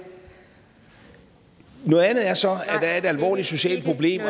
noget andet er så at der er et alvorligt socialt problem